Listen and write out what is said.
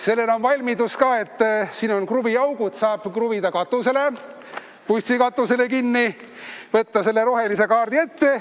Sellel on korralik valmidus: siin on kruviaugud, selle saab kruvida bussikatusele kinni ja võtta selle rohelise kaardi kätte.